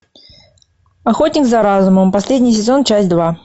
охотник за разумом последний сезон часть два